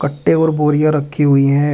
कट्टे और बोरियां रखी हुई है।